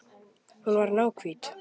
Hún var náhvít.